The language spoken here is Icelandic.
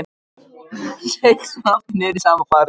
Seig svo aftur niður í sama farið.